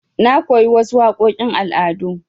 Na koyi wasu waƙoƙin al'ada.